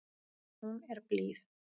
Hún er blíð.